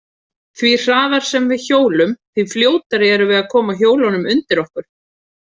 Því hraðar sem við hjólum, því fljótari erum við að koma hjólunum undir okkur.